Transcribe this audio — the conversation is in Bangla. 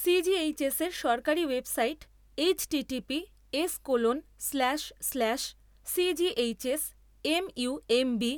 সি জি এইচ এস এর সরকারী website H T T P S colon slash slash C G H S M U M B